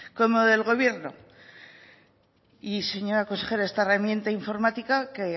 como del gobierno y señora consejera esta herramienta informática que